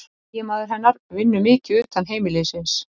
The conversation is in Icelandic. Eiginmaður hennar vinnur mikið utan heimilisins